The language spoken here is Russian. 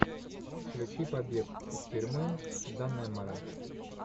включи побег из тюрьмы даннемора